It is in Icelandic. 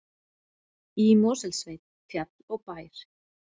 Í Mosfellssveit, fjall og bær.